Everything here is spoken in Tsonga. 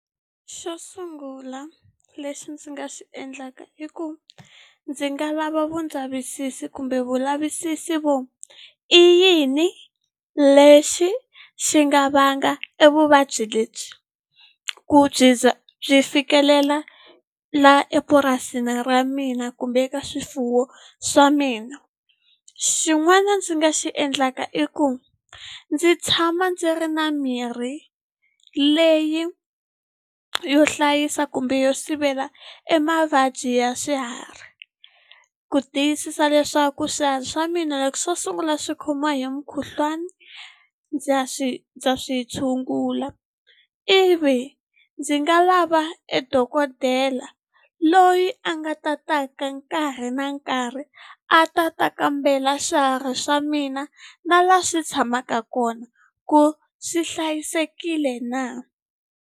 Xo sungula lexi ndzi nga xi endlaka i ku, ndzi nga lava vu ndzavisiso kumbe vulavisisi vo i yini lexi xi nga vanga evuvabyi lebyi, ku byi za byi fikelela laha epurasini ra mina kumbe ka swifuwo swa mina. Xin'wanyana ndzi nga xi endlaka i ku, ndzi tshama ndzi ri na mirhi leyi yo hlayisa kumbe yo sivela emavabyi ya swiharhi, ku tiyisisa leswaku swiharhi swa mina loko swo sungula swi khomiwa hi mukhuhlwani ndza swi ndza swi tshungula. Ivi ndzi nga lava e dokodela loyi a nga ta taka nkarhi na nkarhi a ta ta kambela swiharhi swa mina, na laha swi tshamaka kona ku swi hlayisekile na.